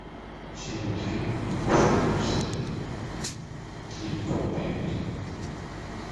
все мультфильмы в хорошем качестве ледниковый период